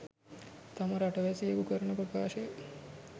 තම රටවැසියකු කරන ප්‍රකාශය